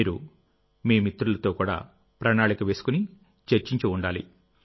మీరు మీ మిత్రులతో కూడా ప్రణాళిక వేసుకుని చర్చించి ఉండాలి